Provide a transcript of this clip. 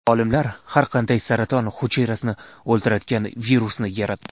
Olimlar har qanday saraton hujayrasini o‘ldiradigan virusni yaratdi.